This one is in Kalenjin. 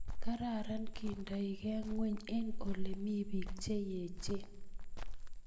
kararan kendoikee ngweny eng olemii biik che echeen